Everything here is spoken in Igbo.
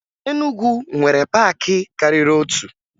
Enugwu nwere paakị karịrị otu